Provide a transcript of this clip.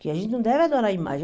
Que a gente não deve adorar a imagem.